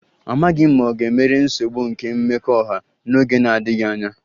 Amaghị m ma ọ ga-emeri nsogbu nke mmekọahụ n'oge na-adịghị anya